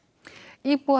íbúar